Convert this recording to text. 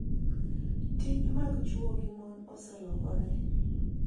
Tije mag chwo gi mon oselokore,